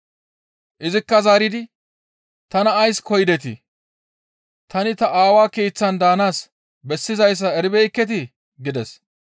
Izikka zaaridi, «Tana ays koyidetii? Tani ta aawa keeththan daanaas bessizayssa eribeekketii?» gides.